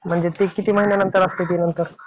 म्हणजे ते किती महिन्यानंतर असतंय ते नंतर?